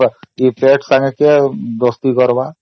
କିଛି ଫୋକଟ୍ ରେ ହେଉନିକିଛି ଫୋକଟ୍ ରେ ହେଉନି